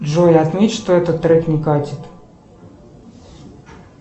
джой отметь что этот трек не катит